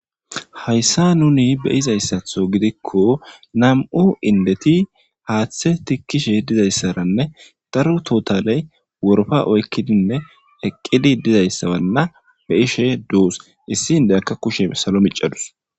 Haysa nuni beyizaysatho gidikon nam'u indeti haathe tikishe dizaysaranne daro totalley woropa oykidinne eqidi dizaysa Wana beyishe dosi, issi indiyaka kushe salo micadusi.